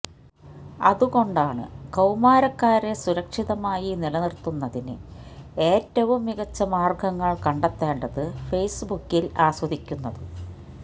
അതുകൊണ്ടാണ് കൌമാരക്കാരെ സുരക്ഷിതമായി നിലനിർത്തുന്നതിന് ഏറ്റവും മികച്ച മാർഗങ്ങൾ കണ്ടെത്തേണ്ടത് ഫെയ്സ്ബുക്കിൽ ആസ്വദിക്കുന്നത്